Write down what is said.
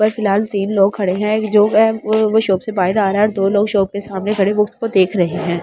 फ़िलहाल तीन लोग खड़े हैं एक जो वो शॉप से बाहर आ रहा हैं और दो शॉप के सामने खड़े उसको देख रहे हैं।